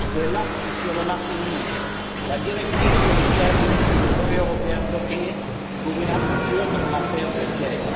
L'acte sur le marché unique, la directive sur les services ou le brevet européen sont bloqués pour une absurde affaire de siège.